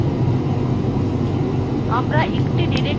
আমরা একটি directory থেকে অন্যত়ে যেতে পারি